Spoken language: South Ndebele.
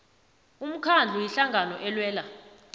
umkhandlu ihlangano elwela